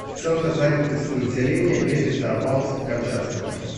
центр занятости населения г петропавловска камчатского